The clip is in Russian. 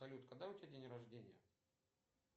салют когда у тебя день рождения